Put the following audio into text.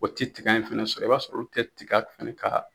O tɛ tiga in fɛnɛ sɔrɔ i b'a sɔrɔ tɛ tika fɛnɛ ka